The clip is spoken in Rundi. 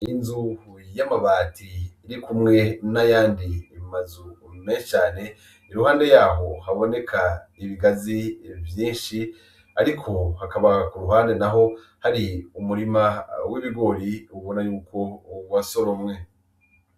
Inzu y'amabati iri kumwe n'ayandi mazu meshi cane iruhande yaho haboneka ibigazi vyishi ariko hakaba k'uruhande naho hari umurima w'ibigori ubona yuko wasoromwe